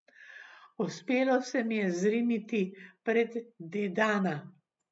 Uspelo se mi je zriniti pred Dedana.